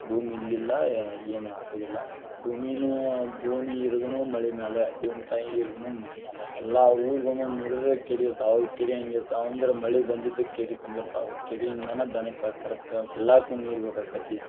ಭೂಮಿ ಇಲ್ಲಿಲ್ಲ ಏ~ ಏನು ಭೂಮಿ ಭೂಮಿ ಇರುದುನು ಮಳಿ ಮ್ಯಾಲ, ಭೂಮ್ತಾಯಿ ಇರುದುನು ಮಳಿ ಮ್ಯಾಲ ಎಲ್ಲಾ ಊರುಗುನು ನೋಡಿದ್ರೆ ಕೆರಿ ಇರ್ತಾವ ಆವ ಕೆರಿ ಹೆಂಗಿರ್ತಾವ ಅಂದ್ರ ಮಳಿ ಬಂದಿದ್ದ ಕೇರಿ ತುಂಬಿರ್ತಾವ್, ಕೇರಿಯಿಂದಾನ ದನಕ್ಕ ಕರಕ್ಕ ಎಲ್ಲಾಕು ನೀರ ಬೆಕಾಕ್ಕೆತಿ.